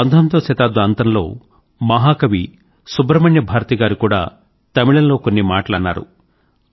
19వ శతాబ్ద అంతంలో మహాకవి సుబ్రహ్మణ్య భారతి గారు కూడా తమిళంలో కొన్ని మాటలు అన్నారు